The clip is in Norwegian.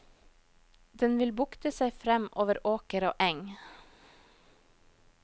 Den vil bukte seg frem over åker og eng.